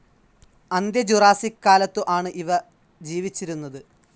അന്ത്യ ജുറാസ്സിക് കാലത്തു ആണ് ഇവ ജീവിച്ചിരുന്നത്.